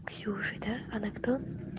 ксюша да она кто